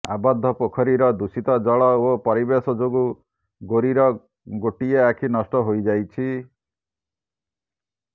ଆବଦ୍ଧ ପୋଖରୀର ଦୂଷିତ ଜଳ ଓ ପରିବେଶ ଯୋଗୁଁ ଗୋରୀର ଗୋଟିଏ ଆଖି ନଷ୍ଟ ହୋଇଯାଇଛି